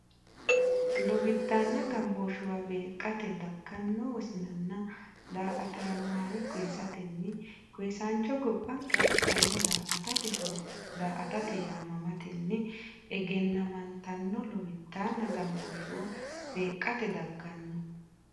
Lowiddaanna gambooshshuwa beeqqate dagganno wosinnanna daa”ataano haa’re koyisatenni koyisaancho gobbanke afidhanno daa”atate horo daa”ata yaamamatenni egennamantanno Lowiddaanna gambooshshuwa beeqqate dagganno.